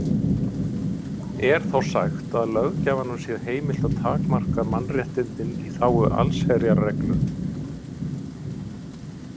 Er þá sagt að löggjafanum sé heimilt að takmarka mannréttindin í þágu allsherjarreglu.